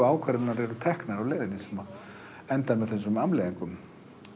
ákvarðanirnar teknar sem endar með þessum afleiðingum